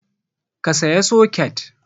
Ka saya soket!